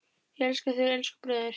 Ég elska þig, elsku bróðir.